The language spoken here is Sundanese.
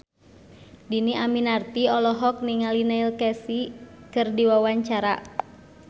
Dhini Aminarti olohok ningali Neil Casey keur diwawancara